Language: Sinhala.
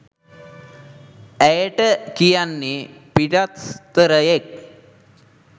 ඇයට කියන්නේ පිටස්තරයෙක්